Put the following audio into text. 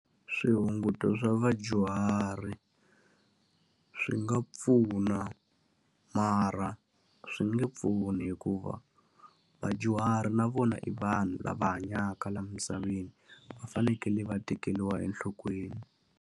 Swihunguto swa vadyuhari swi nga pfuna, mara swi nge pfuni hikuva vadyuhari na vona i vanhu lava hanyaka laha misaveni. Va fanekele va tekeriwa enhlokweni.